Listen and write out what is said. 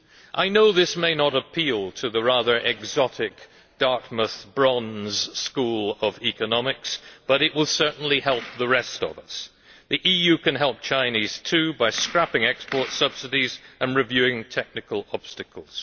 I know this may not appeal to the rather exotic Dartmouth Brons school of economics, but it will certainly help the rest of us. The EU can help China too by scrapping export subsidies and reviewing technical obstacles.